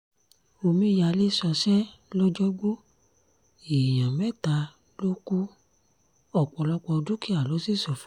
omíyalé ṣọṣẹ́ lọ́jọ́gbó èèyàn mẹ́ta ló kù ọ̀pọ̀lọpọ̀ dúkìá ló sì ṣófo